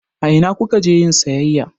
A ina ku ka je yin sayayya?